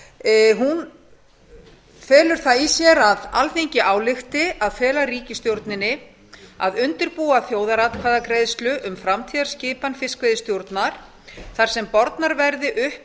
hún felur það í sér að alþingi álykti að fela ríkisstjórninni að undirbúa þjóðaratkvæðagreiðslu um framtíðarskipan fiskveiðistjórnar þar sem bornar verði upp